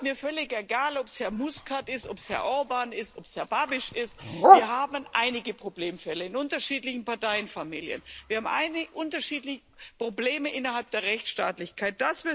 Es ist mir völlig egal, ob es Herr Muscat ist, ob es Herr Orbán ist, ob es Herr Babiš ist wir haben einige Problemfälle in unterschiedlichen Parteienfamilien. Wir haben unterschiedliche Probleme innerhalb der Rechtsstaatlichkeit.